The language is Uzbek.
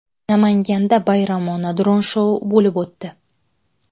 Namanganda bayramona dron shou bo‘lib o‘tdi.